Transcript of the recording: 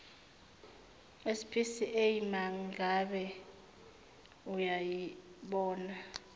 spca mangabe uyayibona